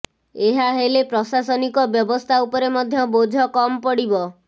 ଏହା ହେଲେ ପ୍ରଶାସନିକ ବ୍ୟବସ୍ଥା ଉପରେ ମଧ୍ୟ ବୋଝ କମ୍ ପଡିବ